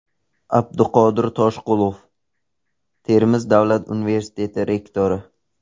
Abduqodir Toshqulov, Termiz davlat universiteti rektori.